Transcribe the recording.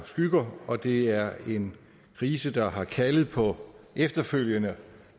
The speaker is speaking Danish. skygger og det er en krise der har kaldet på efterfølgende